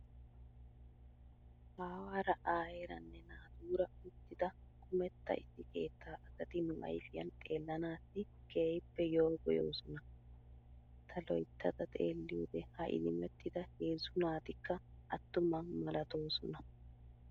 Aawaara aayeeranne naatura uttida kumetta issi keettaa asati nu ayifiyan xeellanaassi keehippe yoogoyoosona. Ta loyittada xeelliyoode ha idimettida heezzu naatikka attuma malatoosona.